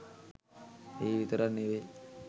ඒ විතරක් නෙවෙයි